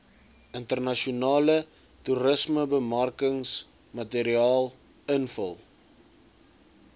internasionale toerismebemarkingsmateriaal invul